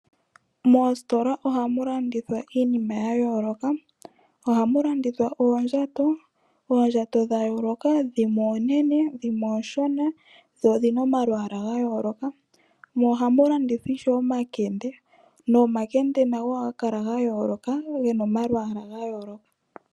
Moostola ohamu landithwa iinima ya yooloka thana ngaashi oondjato, Oondjato dha yooloka dhimwe oonene dhimwe oonshona, dho odhina omalwaala ga yooloka, mo ohamu landithwa ishewe omakende nomakende nago ohaga kala ga yooloka ge na omalwaala ga yooloka.